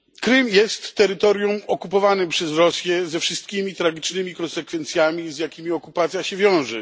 Krym jest terytorium okupowanym przez Rosję ze wszystkimi tragicznymi konsekwencjami, z jakimi okupacja się wiąże.